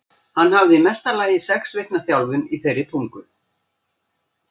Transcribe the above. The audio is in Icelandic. Hann hafði í mesta lagi sex vikna þjálfun í þeirri tungu.